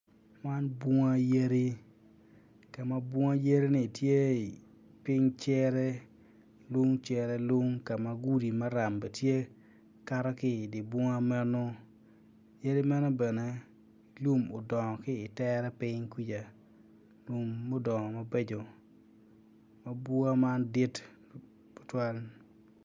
Man bunga yadi ka ma bunga-ni tye i piny cere lung cere lung ka ma gudi maram be tye kato ki idi bunga meno yadi meno bene lum udongo ki itere piny kwija lum mudongo mabeco ma bunga man dit tutwal